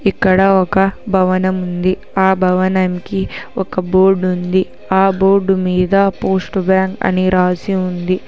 ఇక్కడ ఒక భవనం ఉంది ఆ భవనంకి ఒక బోర్డు ఉంది ఆ బోర్డు మీద పోస్ట్ బ్యాంకు అని రాసి ఉంది.